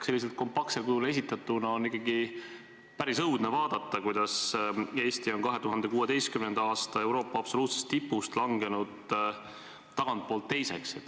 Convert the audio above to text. Sellisel kompaktsel kujul esitatuna oli ikkagi päris õudne näha, kuidas Eesti on 2016. aasta Euroopa absoluutsest tipust langenud tagantpoolt teiseks.